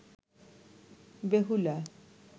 Behula